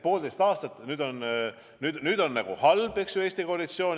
Poolteist aastat on nüüd nagu olnud halb koalitsioon Eestis.